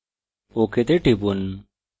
ok তে টিপুন